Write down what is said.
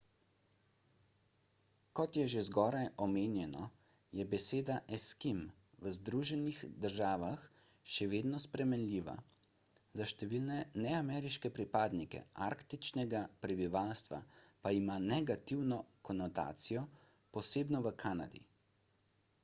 kot je že zgoraj omenjeno je beseda eskim v združenih državah še vedno sprejemljiva za številne neameriške pripadnike arktičnega prebivalstva pa ima negativno konotacijo posebno v kanadi